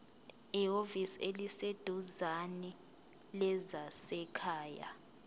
ehhovisi eliseduzane lezasekhaya